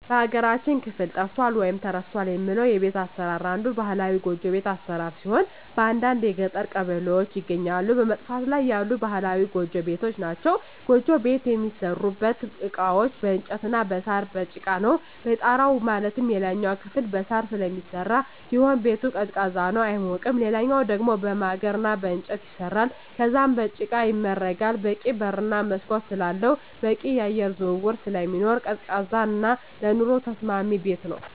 በሀገራችን ክፍል ጠፍቷል ወይም ተረስቷል የምለው የቤት አሰራር አንዱ ባህላዊ ጎጆ ቤት አሰራር ሲሆን በአንዳንድ የገጠር ቀበሌዎች ይገኛሉ በመጥፋት ላይ ያሉ ባህላዊ ጎጆ ቤቶች ናቸዉ። ጎጆ ቤት የሚሠሩበት እቃዎች በእንጨት እና በሳር፣ በጭቃ ነው። የጣራው ማለትም የላይኛው ክፍል በሳር ስለሚሰራ ሲሆን ቤቱ ቀዝቃዛ ነው አይሞቅም ሌላኛው ደሞ በማገር እና በእንጨት ይሰራል ከዛም በጭቃ ይመረጋል በቂ በር እና መስኮት ስላለው በቂ የአየር ዝውውር ስለሚኖር ቀዝቃዛ እና ለኑሮ ተስማሚ ቤት ነው።